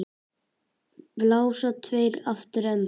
Við henni blasa tveir aftur endar.